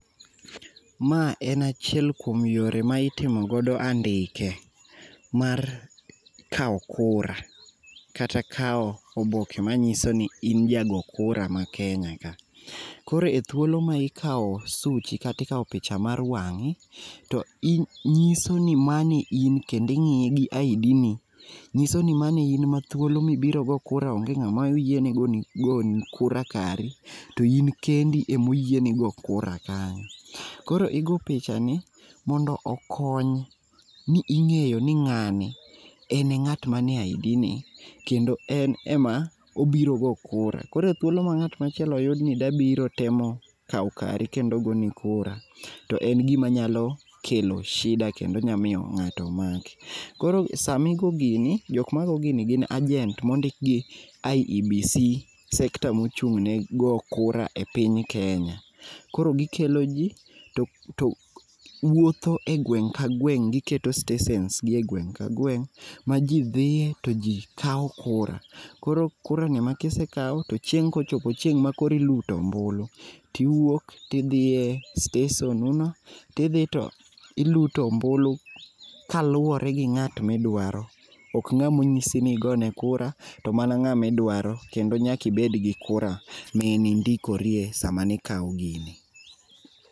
Ma en achiel kuom yore ma itimo godo andike mar kao kura kata kao oboke manyisoni in jago kura ma Kenya ka .Koro e thuolo ma ikao suchi kata ikao picha mar wangi to nyisoni ni mano e in kendo ing'iye gi ID ni nyisoni mano in ma thuolo mibiro go kura onge ngama yiene goni kura kari, to in kendi ema oyieni go kura kanyo. Koro igo pichani mondo okony ni ing'eyo ni ng'ani en e ngat manie ID ni kendo en ema obiro go kura. Koro thuolo ma ngat machielo yudni dwa biro temo kao kari kendo goni kura to en gim anyalo kelo shida[sc], kendo nya miyo ng'ato maki. Koro samigo gini, jokma go gini gin agent mondik gi IEBC sekta mochung ne go kura e piny Kenya, koro gikelo jii to wuotho e gwenge ka gweng giketo stesens gi e gweng' ka gweng' ma jii dhie to jii kao kura. koro kurani ema kisekao to chieng' kosechopo chieng' makoro iluto ombulu tiwuok tidhie stesen u no tidhi to iluto ombulu kaluore gi ng'at midwaro, ok ngamo onyisini ogone kura, to mana ng'ama idwaro kendo nyaka ibed gi kura mani indikorie sama nikao gini.